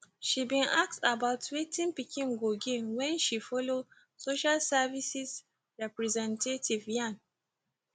she bin ask about wetin pikin go gain wen she follow social services representative yarn